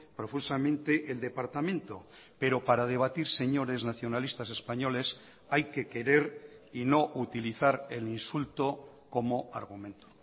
profusamente el departamento pero para debatir señores nacionalistas españoles hay que querer y no utilizar el insulto como argumento